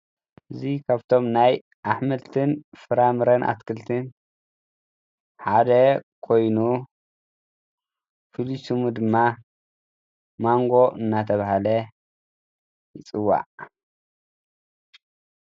እዙይ ኻብቶም ናይ ኣኅምልትን ፍራምረን ኣትክልትን ሓደ ኮይኑ ፊሉሱሙ ድማ ማንጎ እናተብሃለ ይጽዋዕግ::